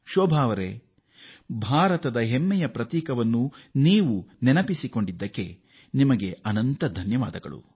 ಶೋಭಾ ಅವರೇ ಭಾರತದ ಹೆಮ್ಮೆಯ ಉಜ್ವಲ ಉದಾಹರಣೆಯ ಬಗ್ಗೆ ಗಮನ ಸೆಳೆದಿದ್ದಕ್ಕಾಗಿ ಧನ್ಯವಾದಗಳು